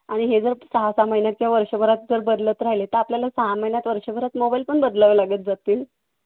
आणि हे जर सहा सहा महिन्यात आणि वर्षभरात जर बदलत राहिलं तर आपल्याला सहा महिन्यात, वर्षभरात mobile पण बदलत राहावे लागतील.